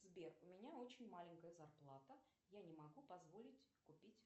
сбер у меня очень маленькая зарплата я не могу позволить купить